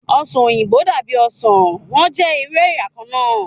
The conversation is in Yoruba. Ọsan oyinbo dabi osan, wọn jẹ iru ẹya kanna